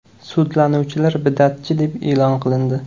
Sudlanuvchilar bid’atchi deb e’lon qilindi.